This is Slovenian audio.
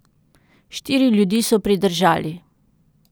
Štiri ljudi so pridržali.